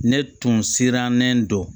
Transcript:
Ne tun sirannen don